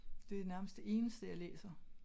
Det er nærmest det eneste jeg læser